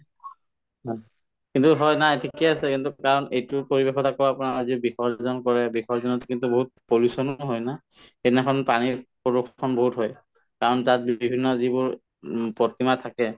কিন্তু নাই ঠিকে আছে কিন্তু কাৰণ এইটো পৰিৱেশত আকৌ আপোনাৰ বিসৰ্জন কৰে বিসৰ্জনত কিন্তু বহুত pollution য়ো হয় না সেইদিনাখন পানীৰ pollution বহুত হয় কাৰণ তাত বিভিন্ন যিবোৰ উম প্ৰতিমা থাকে